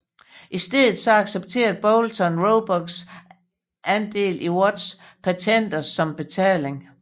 I stedet accepterde Boulton Roebucks andel i Watts patenter som betaling